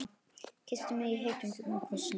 Kyssti mig heitum, djúpum kossi.